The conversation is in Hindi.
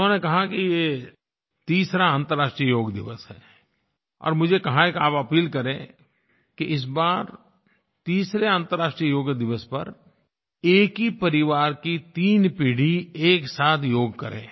उन्होंने कहा कि ये तीसरा अंतरराष्ट्रीय योग दिवस है और मुझे कहा कि आप अपील करें कि इस बार तीसरा अंतरराष्ट्रीय योग दिवस पर एक ही परिवार की तीन पीढ़ी एक साथ योग करे